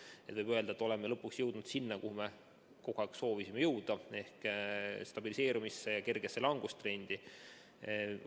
Nii et võib öelda, et oleme lõpuks jõudnud sinna, kuhu me kogu aeg oleme soovinud jõuda, ehk stabiliseerumisse ja kergesse langustrendi.